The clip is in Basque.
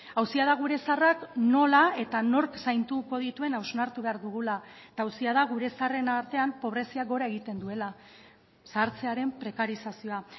auzia da gure zaharrak nola eta nork zainduko dituen hausnartu behar dugula eta auzia da gure zaharren artean pobreziak gora egiten duela zahartzearen prekarizazioa